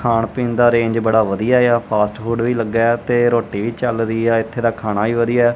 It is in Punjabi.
ਖਾਣ ਪੀਣ ਦਾ ਅਰੇਂਜ ਬੜਾ ਵਧੀਆ ਆ ਫਾਸਟ ਫੂਡ ਵੀ ਲੱਗਾ ਆ ਤੇ ਰੋਟੀ ਵੀ ਚੱਲ ਰਹੀ ਆ ਇੱਥੇ ਦਾ ਖਾਣਾ ਵੀ ਵਧੀਆ।